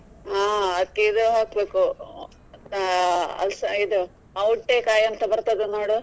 ಹಾ ಅದಿಕ್ಕೆ ಇದು ಹಾಕ್ಬೇಕು ಅಹ್ ಅಲ್ಸಾ~ ಇದು ಔಟೆಕಾಯಿ ಬರ್ತದೆ ನೋಡು.